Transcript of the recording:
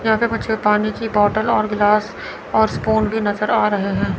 ज्यादा बच्चे पानी की बॉटल और गिलास और स्पून भी नजर आ रहे हैं।